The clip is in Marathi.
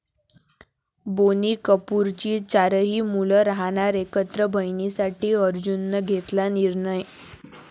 बोनी कपूरची चारही मुलं राहणार एकत्र, बहिणींसाठी अर्जुननं घेतला निर्णय